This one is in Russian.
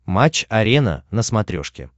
матч арена на смотрешке